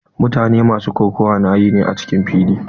Mutane masu kokawa na yi ne a cikin fili.